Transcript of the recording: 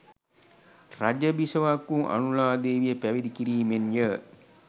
රජ බිසවක් වූ අනුලා දේවිය පැවිදි කිරීමෙන්ය.